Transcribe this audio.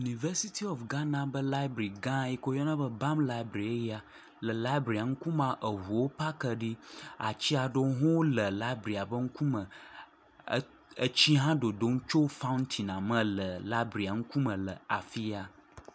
Yunivɛsiti ofu Ghana ƒe labiri gã si woyɔna be ‘balm library’ eya. Labiria ŋkume, ŋuwo paki ɖi, ati aɖewo hã le labiria ƒe ŋkume. Tsi hã dodom tso faŋtin la me le labiria ŋkume le afia.